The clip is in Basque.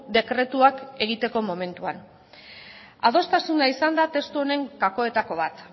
dekretuak egiteko momentuan adostasuna izan da testu honen gakoetako bat